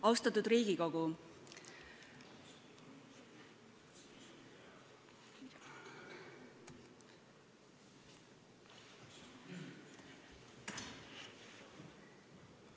Austatud Riigikogu!